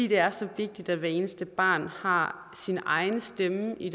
det er så vigtigt at hver eneste barn har sin egen stemme i